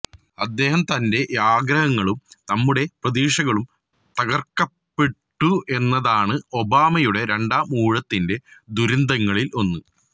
അദ്ദേഹത്തന്റെ ആഗ്രഹങ്ങളും നമ്മുടെ പ്രതീക്ഷകളും തകര്ക്കപ്പെട്ടു എന്നതാണ് ഒബാമയുടെ രണ്ടാം ഊഴത്തിന്റെ ദുരന്തങ്ങളില് ഒന്ന്